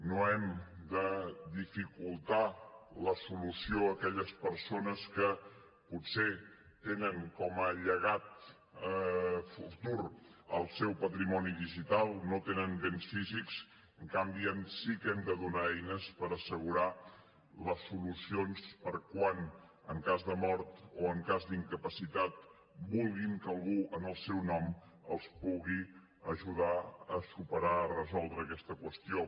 no hem de dificultar la solució a aquelles persones que potser tenen com a llegat futur el seu patrimoni digital no tenen béns físics en canvi sí que hem de donar eines per assegurar les solucions per a quan en cas de mort o en cas d’incapacitat vulguin que algú en el seu nom els pugui ajudar a superar a resoldre aquesta qüestió